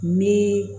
Ni